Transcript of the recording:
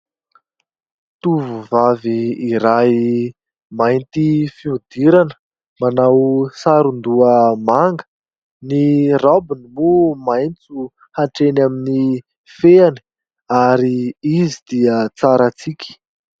Tovovavy iray mainty fihodirana manao saron-doha manga. Ny rabony no maintso atreny amin'ny feny ary izy dia tsara tsiky.